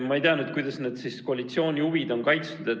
Ma ei tea, kuidas need koalitsiooni huvid siin on kaitstud.